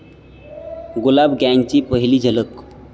गुलाब गँगची पहिली झलक